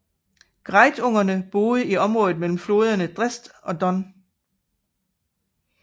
Greutungerne boede i området mellem floderne Dnestr og Don